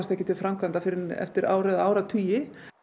ekki til framkvæmda fyrr en eftir ár eða áratugi